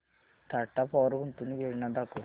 Tata power गुंतवणूक योजना दाखव